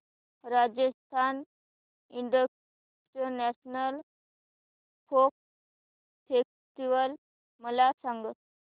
Rajasthan international folk festival मला सांग